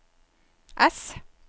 S